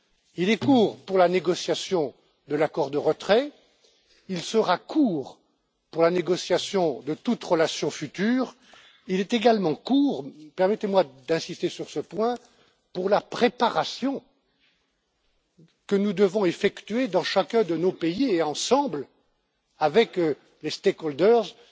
Il est court pour la négociation de l'accord de retrait, il sera court pour la négociation de toute relation future. Il est également court permettez moi d'insister sur ce point pour la préparation que nous devons effectuer dans chacun de nos pays et, ensemble, avec les parties prenantes,